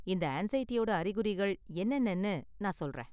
இந்த ஆன்ஸைடியோட அறிகுறிகள் என்னென்னனு நான் சொல்றேன்.